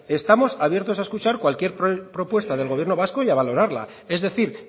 estamos abiertos a escuchar cualquier propuesta del gobierno vasco y a valorarla es decir